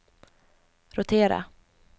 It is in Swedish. rotera